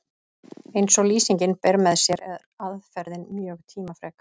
eins og lýsingin ber með sér er aðferðin mjög tímafrek